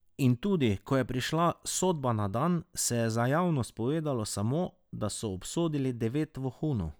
In tudi ko je prišla sodba na dan, se je za javnost povedalo samo, da so obsodili devet vohunov.